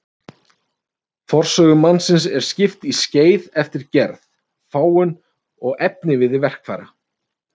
Forsögu mannsins er skipt í skeið eftir gerð, fágun og efniviði verkfæra.